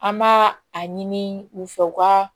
An b'a a ɲini u fɛ u ka